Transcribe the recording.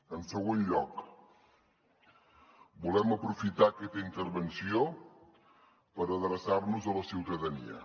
en segon lloc volem aprofitar aquesta intervenció per adreçar nos a la ciutadania